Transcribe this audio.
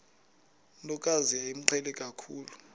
ntokazi yayimqhele kakhulu